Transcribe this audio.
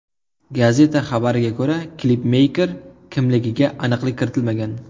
Gazeta xabarida klipmeyker kimligiga aniqlik kiritilmagan.